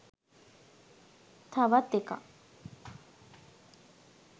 තවත් එකක්